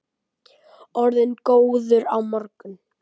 Orðinn góður á morgun.